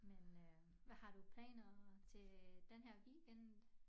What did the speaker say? Men øh hvad har du planer til denne her weekend